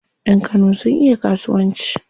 Yan Kano sun iya kasuwanci.